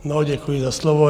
No děkuji za slovo.